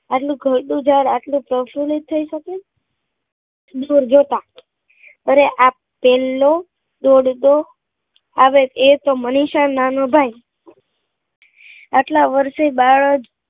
આજ નું ગરડું જ્યારે આટલું પ્રફુલ્લિત થઇ શકે દુર્ગતા અરે આ પેલ્લો દોડતો આવે એ તો મનીષા નો નાનો ભાઈ આટલા વર્ષે બાળ